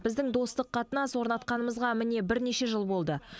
біздің достық қатынас орнатқанымызға міне бірнеше жыл болды